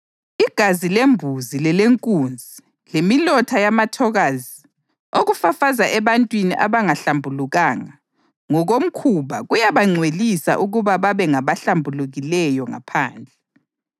Igazi lembuzi lelenkunzi lemilotha yamathokazi okufafazwa ebantwini abangahlambulukanga ngokomkhuba kuyabangcwelisa ukuba babe ngabahlambulukileyo ngaphandle.